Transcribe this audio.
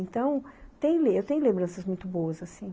Então, eu tem eu tenho lembranças muito boas assim.